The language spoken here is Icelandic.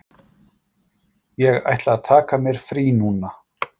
Ég ætla að taka mér frí núna.